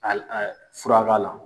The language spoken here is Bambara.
fura b'a la.